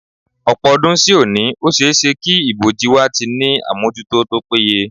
Ọ̀pọ̀ ọdún sí òní, ó ṣe é ṣé kí ìbòji ilẹ̀ wa ti ní àmójútó tó péye